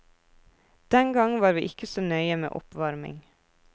Den gang var vi ikke så nøye med oppvarming.